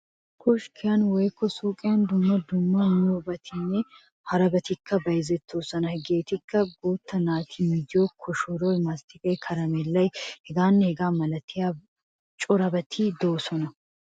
'Koskkiyan' woykko 'suuqiyan' dumma dumma miyobatinne harabatikka bayzettoosona. Hegeetikka guutta naata miziyo koshoroy, masttiqay, karammeellay hegaanne hegaa malatiya corabati de'oosona.